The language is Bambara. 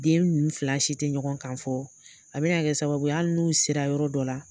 Den nunnu fila si te ɲɔgɔn kan fɔ a bɛna kɛ sababu ye ali n'u sera yɔrɔ dɔ la